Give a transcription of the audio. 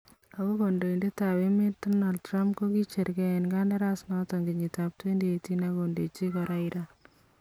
Ako kandoindetab emeet Donald Trump kokicheer kee en kandaras noton kenyitab 2018 ak kondechi koraa Iran